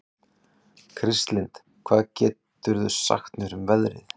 Kristlind, hvað geturðu sagt mér um veðrið?